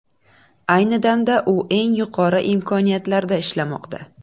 Ayni damda u eng yuqori imkoniyatlarda ishlamoqda.